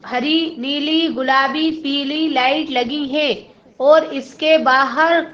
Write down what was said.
हरि नीली गुलाबी पीली लाइट लगी है और इसके बाहर--